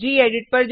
gedit